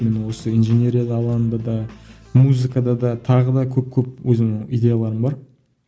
мен осы инженерия алаңында да музыкада да тағы да көп көп өзімнің идеяларым бар